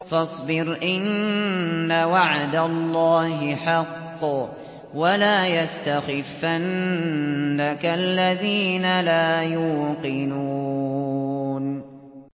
فَاصْبِرْ إِنَّ وَعْدَ اللَّهِ حَقٌّ ۖ وَلَا يَسْتَخِفَّنَّكَ الَّذِينَ لَا يُوقِنُونَ